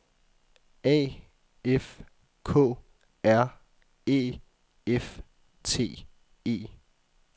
A F K R Æ F T E